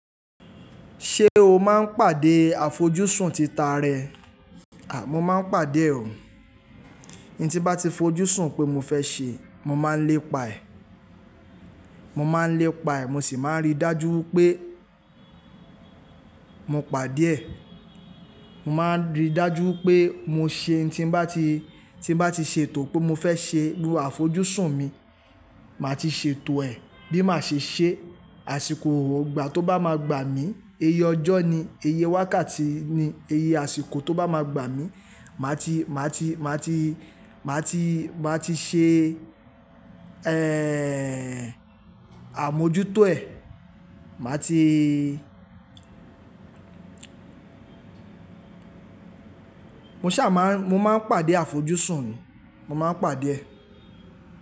Ṣé o máa ń pàdé àfojúsùn tita rẹ? À, mo máa ń pàdé òun. N tí bá ti fojúsùn pé mo fẹ́ ṣe, mo máa ń lépa ẹ̀. Mo máa ń lépa ẹ̀, mo sì máa ń rí dájú pé mo pàdé ẹ̀. Mo máa ń rí dájú pé mo ṣe n tí bá ti, tí bá ti ṣètò pé mo fẹ́ ṣe lu àfojúsùn mi, màá ti ṣètò ẹ̀ bí màá ṣe ṣe, àsìkò ọ̀gbà tó bá máa gbà mí, eye ọjọ́ ni, eye wákàtí ni, eye àsìkò tó bá máa gbà mí, màá ti, màá ti, màá ti, màá ti, màá ti ṣe, ẹ́, àmójútó ẹ̀. Màá ti. Mo ṣà máa ń, mo máa ń pàdé àfojúsùn mi, mo máa ń pàdé ẹ.